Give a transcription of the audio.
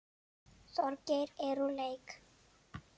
Þorgeir er úr leik.